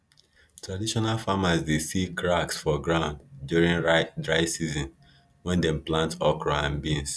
traditional farmers dey see cracks for ground during dry season when dem plant okra and beans